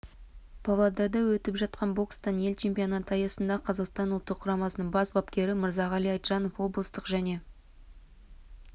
павлодарда өтіп жатқан бокстан ел чемпионаты аясында қазақстан ұлттық құрамасының бас бапкері мырзағали айтжанов облыстық және